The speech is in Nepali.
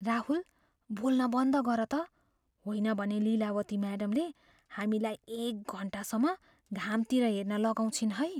राहुल! बोल्न बन्द गर त, होइन भने लिलावती म्याडमले हामीलाई एक घन्टासम्म घामतिर हेर्न लगाउँछिन् है।